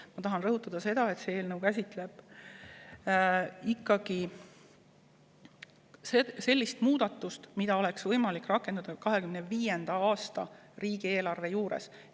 Ja ma tahan veel kord rõhutada, et see eelnõu käsitleb ikkagi sellist muudatust, mida oleks võimalik rakendada 2025. aasta riigieelarve juures.